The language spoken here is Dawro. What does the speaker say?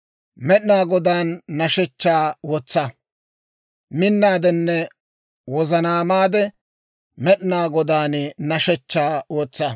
Med'inaa Godaan hidootaa wotsa; minnaadenne wozanaamaade, Med'inaa Godaan hidootaa wotsa.